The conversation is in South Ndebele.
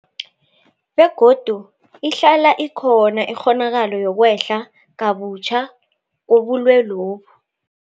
Begodu ihlala ikhona ikghonakalo yokwehla kabutjha kobulwelobu.